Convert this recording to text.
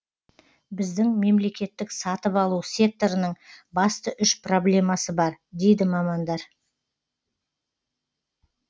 біздің мемлекеттік сатып алу секторының басты үш проблемасы бар дейді мамандар